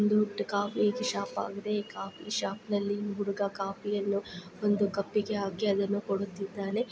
ಒಂದು ಟ್ ಕಾಫಿಶಾಪ್ ಆಗಿದೆ ಕಾಫಿ ಶಾಪ್ನಲ್ಲಿ ಈ ಹುಡುಗ ಕಾಫಿ ಅನ್ನು ಒಂದು ಕಪ್ಪಿಗೆ ಹಾಕಿ ಅದನ್ನು ಕೊಡುತ್ತಿದ್ದಾನೆ.